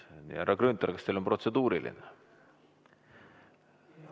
Härra Grünthal, kas teil on protseduuriline?